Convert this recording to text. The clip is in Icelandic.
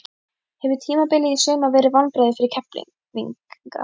Hefur tímabilið í sumar verið vonbrigði fyrir Keflvíkinga?